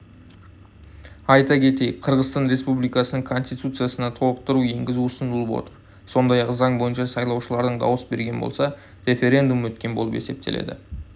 айта кетейік қырғызстан республикасының конституциясына толықтыру енгізу ұсынылып отыр сондай-ақ заң бойынша сайлаушылардың дауыс берген болса референдум өткен болып есептеледі